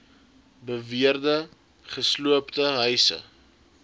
beweerde gesloopte huise